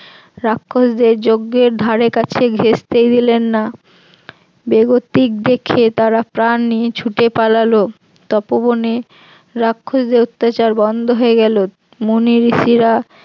রাক্ষসদের যজ্ঞের ধারে কাছে ঘেষতেই দিলেন না, বেগতিক দেখে তারা প্রাণ নিয়ে ছুটে পালালো, তপবনে রাক্ষসদের অত্যাচার বন্ধ হয়ে গেল, মুনি ঋষিরা